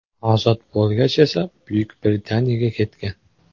Ozod bo‘lgach esa Buyuk Britaniyaga ketgan.